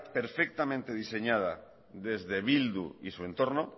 perfectamente diseñada desde bildu y su entorno